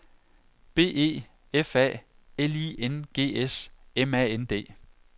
B E F A L I N G S M A N D